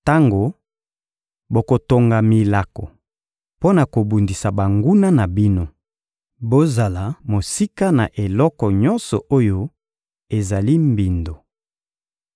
Tango bokotonga milako mpo na kobundisa banguna na bino, bozala mosika na eloko nyonso oyo ezali mbindo.